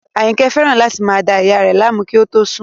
Àyìnkẹ́ fẹ́ràn láti máa da ìyá a rẹ̀ láàmú kí ó tó sùn